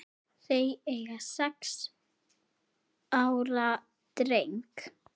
Þau eiga sex ára dreng